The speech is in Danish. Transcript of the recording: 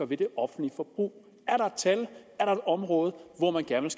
ved det offentlige forbrug er der et tal er der et område hvor man gerne